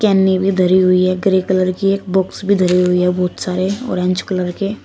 केनी भी धरी हुई है ग्रे कलर कि एक बॉक्स भी धरी हुई है बहुत सारे ऑरेंज कलर के --